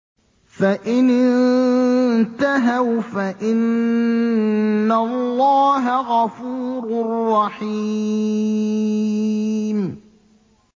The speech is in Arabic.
فَإِنِ انتَهَوْا فَإِنَّ اللَّهَ غَفُورٌ رَّحِيمٌ